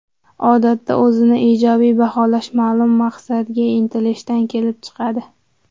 Odatda, o‘zini ijobiy baholash ma’lum maqsadga intilishdan kelib chiqadi.